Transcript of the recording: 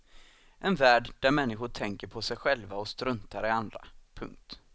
En värld där människor tänker på sig själva och struntar i andra. punkt